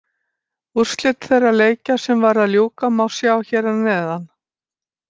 Úrslit þeirra leikja sem var að ljúka má sjá hér að neðan.